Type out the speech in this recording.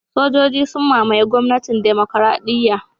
Sojoji sun mamaye gwamnatin Demokradiyya